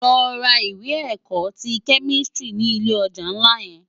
Lò rá iwè èkò ti kèmistiri ni ilé òjá nlá yèn